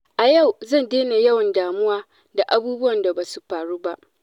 A yau zan daina yawan damuwa da abubuwan da ba su faru ba.